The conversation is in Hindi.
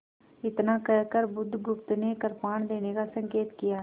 इतना कहकर बुधगुप्त ने कृपाण देने का संकेत किया